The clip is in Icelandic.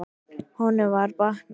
Honum var batnað.